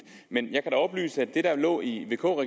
men jeg kan da oplyse at det der lå i vk